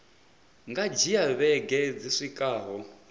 nga dzhia vhege dzi swikaho